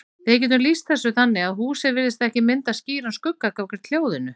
Við getum lýst þessu þannig að húsið virðist ekki mynda skýran skugga gagnvart hljóðinu.